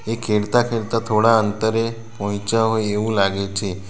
એ ખેડતા ખેડતા થોડા અંતરે પહોંચ્યા હોય એવું લાગે છે.